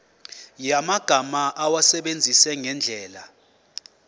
yamagama awasebenzise ngendlela